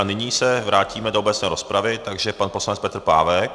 A nyní se vrátíme do obecné rozpravy, takže pan poslanec Petr Pávek.